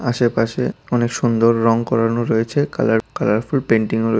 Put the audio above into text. আশেপাশে অনেক সুন্দর রং করানো রয়েছে কালার-কালারফুল পেইন্টিং ও র--